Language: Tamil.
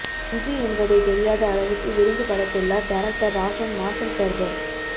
இது என்பதை தெரியாத அளவுக்கு விருந்து படைத்துள்ளார் டைரக்டர் ராஷன் மார்சல் டர்பர்